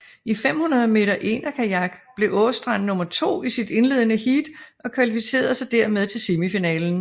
I 500 m enerkajak blev Aastrand nummer to i sit indledende heat og kvalificerede sig dermed til semifinalen